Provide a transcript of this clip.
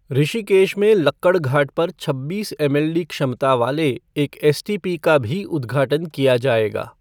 ऋषिकेश में लक्कड़घाट पर छब्बीस एमएलडी क्षमता वाले एक एसटीपी का भी उद्घाटन किया जाएगा।